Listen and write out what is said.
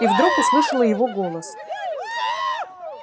и вдруг услышала его голос